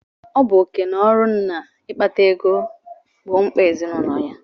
Ọ bụ oké na ọrụ nna ịkpata ego gbọọ mkpà ezinaụlọ ya.